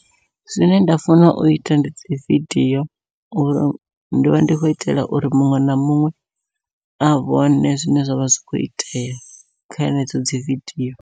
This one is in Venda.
Zwine nda funa uita ndi dzi vidio, uri ndi vha ndi khou itela uri muṅwe na muṅwe a vhone zwine zwavha zwi kho itea kha henedzo dzi vidio.